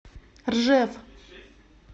ржев